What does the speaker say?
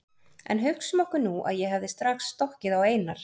En hugsum okkur nú að ég hefði strax stokkið á Einar